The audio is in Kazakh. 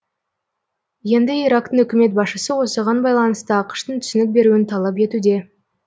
енді ирактың үкімет басшысы осыған байланысты ақш тың түсінік беруін талап етуде